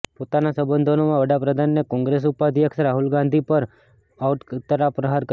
પોતાના સંબોધનમાં વડાપ્રધાને કોંગ્રેસ ઉપાધ્યક્ષ રાહુલ ગાંધી પર પણ આડકતરા પ્રહાર કર્યા